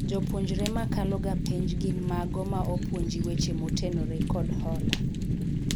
joupuonjre makalo ga penj gin mago ma opuonji weche motenore kod hola